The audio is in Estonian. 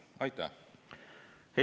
Aitäh!